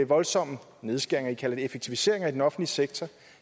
voldsomme nedskæringer i kalder de effektiviseringer i den offentlige sektor